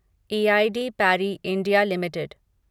E I D Parry India limited